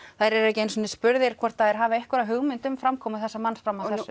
eru ekki einu sinni spurðir hvort þeir hafi einhverjar hugmynd um framkomu þessa manns fram að